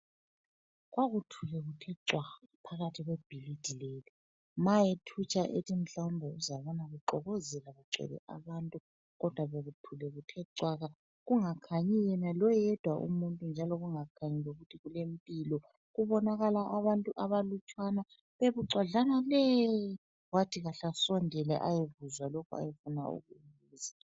Kwakuthule kuthe cwaka phakathi kwebhilidi leli. Ma ethutsha ethi mhlawumbe uzabona kuxokozela kugcwele abantu kodwa bekuthule kuthe cwaka kungakhanyi yena loyedwa umuntu njalo kungakhanyi ukuthi kulempilo. Kubonakala abantu abalutshwana bebucwadlana le wathi kahle ngisondele ayekuzwa lokhu ayefuna ukukubuza.